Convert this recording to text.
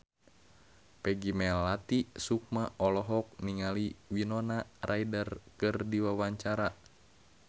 Peggy Melati Sukma olohok ningali Winona Ryder keur diwawancara